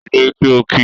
Dìde kí o kí!